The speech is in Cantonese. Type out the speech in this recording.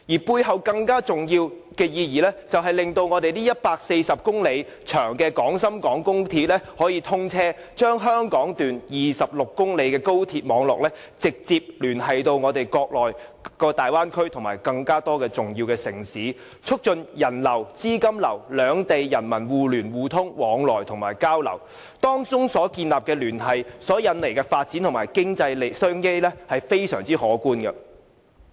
背後更重要的意義，就是令140公里長的廣深港高鐵可以通車，將香港段26公里的高鐵網絡直接聯繫國內大灣區及更多重要城市，促進資金流、物流及兩地人民互聯互通及相互交流，當中所建立的聯繫及引來的發展和經濟商機是非常可觀的。